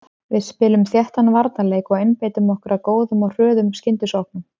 Við spilum þéttan varnarleik og einbeitum okkar að góðum og hröðum skyndisóknum.